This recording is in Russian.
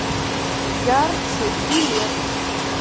ярче билет